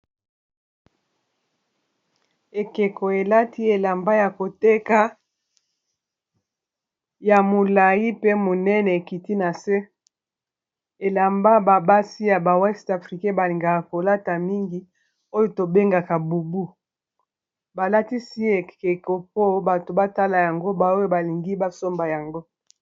Ekeko, elati elamba ya koteka ya molai pe monene, ekiti na se. Elamba basi ya ba weste africain ba lingaka kolata mingi ; oyo to bengaka bubu. Ba latisi ekeko mpo, bato batala yango ; ba oyo ba lingi ba somba yango.